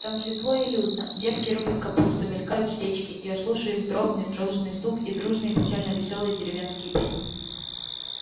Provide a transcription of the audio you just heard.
там светло и людно девки рубят капусту мелькают сечки я слушаю их дробный дружный стук и дружные печально-весёлые деревенские песни